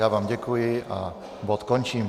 Já vám děkuji a bod končím.